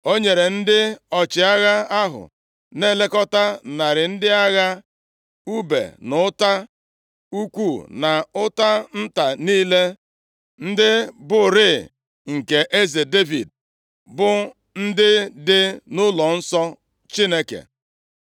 O nyere ndị ọchịagha ahụ na-elekọta narị ndị agha, ùbe na ọta ukwu na ọta nta niile, ndị bụrịị nke eze Devid, bụ ndị dị nʼụlọnsọ Chineke.